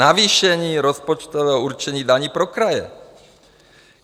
Navýšení rozpočtového určení daní pro kraje?